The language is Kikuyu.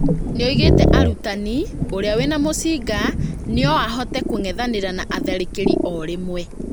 Nĩoigĩte "arutani ũrĩa wĩna mucinga noahote kũng'ethanĩra na atharĩkĩri oro rĩmwe"